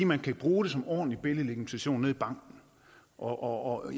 man kan bruge det som ordentlig billedlegitimation nede i banken og